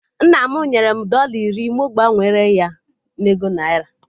Nna m nyere m dọla iri mụ gbanwere ya na ego naira